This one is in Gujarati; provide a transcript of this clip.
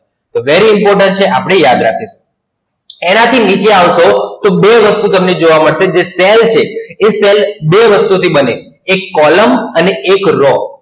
એ Very important છે આપણે યાદ રાખીએ. એનાથી નીચે આવશો તો બે વસ્તુ તમને જોવા મળશે, જે Cell છે એ Cell બે વસ્તુ થી બને, એક Column અને એક Raw.